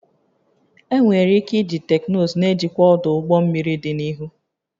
Enwere ike iji teknụzụ na-ejikwa ọdụ ụgbọ mmiri dị n'ihu